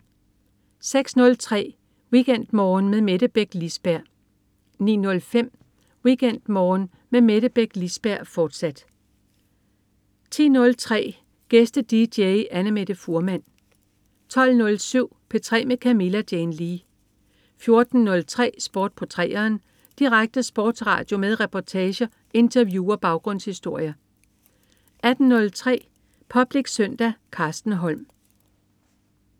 06.03 WeekendMorgen med Mette Beck Lisberg 09.05 WeekendMorgen med Mette Beck Lisberg, fortsat 10.03 Gæste-dj. Annamette Fuhrmann 12.07 P3 med Camilla Jane Lea 14.03 Sport på 3'eren. Direkte sportsradio med reportager, interview og baggrundshistorier 18.03 Public Søndag. Carsten Holm